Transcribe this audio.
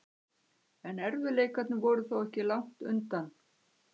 En erfiðleikarnir voru þó ekki langt undan.